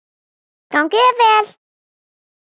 Gangi þér vel!